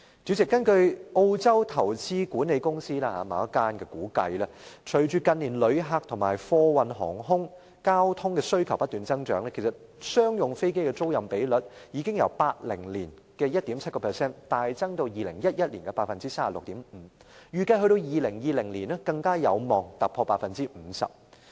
主席，根據澳洲某間投資管理公司估計，隨着近年旅客人數和貨運航空交通的需求不斷增長，商用飛機的租賃比率已由1980年的 1.7% 大幅增至2011年的 36.5%， 預計2020年更有望突破 50%。